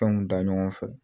Fɛnw da ɲɔgɔn fɛ